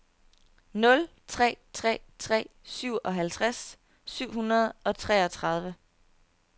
nul tre tre tre syvoghalvtreds syv hundrede og treogtredive